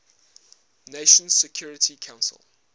nations security council